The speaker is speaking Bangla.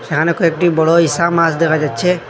এখানে কয়েকটি বড় ইসা মাস দেখা যাচ্ছে।